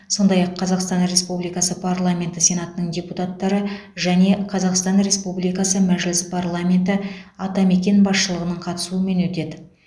сондай ақ қазақстан республикасы парламенті сенатының депутаттары және қазақстан республикасы мәжіліс парламеті атамекен басшылығының қатысуымен өтеді